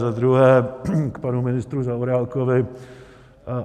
Za druhé k panu ministru Zaorálkovi.